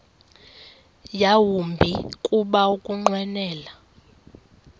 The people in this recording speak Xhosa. yawumbi kuba ukunqwenela